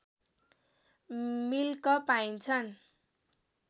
milk पाइन्छन्